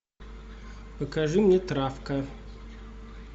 покажи мне травка